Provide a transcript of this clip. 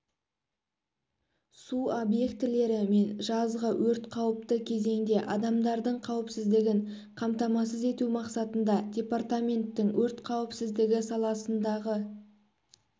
су объектілері мен жазғы өрт қауіпті кезеңде адамдардың қауіпсіздігін қамтамасыз ету мақсатында департаменттің өрт қауіпсіздігі саласындағы